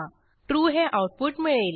true हे output मिळेल